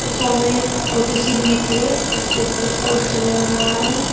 सामने छोटी सी भीथ है उसके ऊपर भी पोस्टर लग रहा है।